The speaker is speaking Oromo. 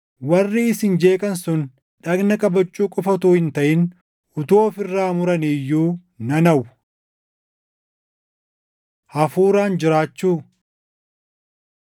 Warri isin jeeqan sun dhagna qabachuu qofa utuu hin taʼin utuu of irraa muranii iyyuu nan hawwa! Hafuuraan Jiraachuu